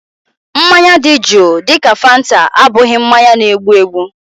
Mmanya dị juu dịka fanta abụghị mmanya na-egbu egbu